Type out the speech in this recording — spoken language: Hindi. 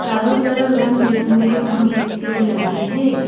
चारों तरफ रंगबिरंगे हॉर्न स्पीकर लगे हैं।